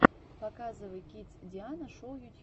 показывай кидс диана шоу ютьюб